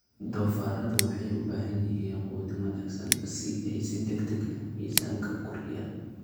Doofaarradu waxay u baahan yihiin quudin wanaagsan si ay si degdeg ah miisaanka u kordhiyaan.